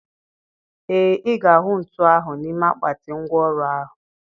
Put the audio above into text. Ee, ị ga-ahụ ntu ahụ n'ime akpati ngwá ọrụ ahụ.